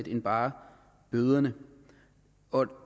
end bare bøderne og